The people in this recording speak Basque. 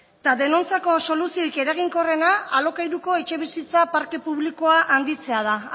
eta denontzako soluzioik eraginkorrena alokairuko etxebizitza parke publikoa handitzea da